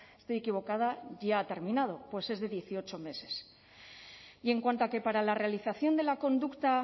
estoy equivocada ya ha terminado pues es de dieciocho meses y en cuanto a que para la realización de la conducta